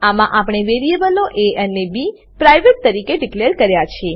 આમાં આપણે વેરીએબલો એ અને બી પ્રાઇવેટ તરીકે ડીકલેર કર્યા છે